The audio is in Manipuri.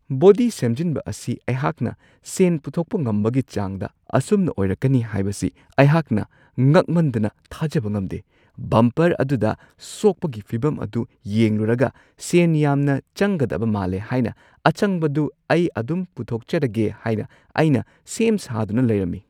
ꯕꯣꯗꯤ ꯁꯦꯝꯖꯤꯟꯕ ꯑꯁꯤ ꯑꯩꯍꯥꯛꯅ ꯁꯦꯟ ꯄꯨꯊꯣꯛꯄ ꯉꯝꯕꯒꯤ ꯆꯥꯡꯗ ꯑꯁꯨꯝꯅ ꯑꯣꯏꯔꯛꯀꯅꯤ ꯍꯥꯏꯕꯁꯤ ꯑꯩ ꯉꯛꯃꯟꯗꯅ ꯊꯥꯖꯕ ꯉꯝꯗꯦ ! ꯕꯝꯄꯔ ꯑꯗꯨꯗ ꯁꯣꯛꯄꯒꯤ ꯐꯤꯕꯝ ꯑꯗꯨ ꯌꯦꯡꯂꯨꯔꯒ ꯁꯦꯟ ꯌꯥꯝꯅ ꯆꯪꯒꯗꯕ ꯃꯥꯜꯂꯦ ꯍꯥꯏꯅ ꯑꯆꯪꯕꯗꯨ ꯑꯩꯍꯥꯛꯅ ꯑꯗꯨꯝ ꯄꯨꯊꯣꯛꯆꯔꯒꯦ ꯍꯥꯢꯅ ꯑꯩꯅ ꯁꯦꯝ-ꯁꯥꯗꯨꯅ ꯂꯩꯔꯝꯃꯤ ꯫